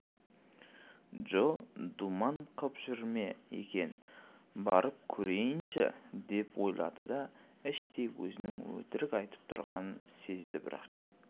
джо думан қып жүр ме екен барып көрейінші деп ойлады да іштей өзінің өтірік айтып тұрғанын сезді бірақ